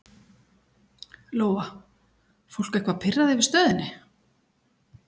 Lóa: Fólk eitthvað pirrað yfir stöðunni?